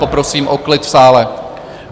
Poprosím o klid v sále!